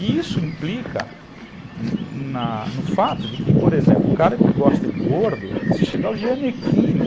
E isso implica na no fato de que, por exemplo, o cara que gosta de gordo, se chegar o Gianecchini,